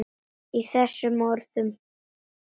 Í þessum orðum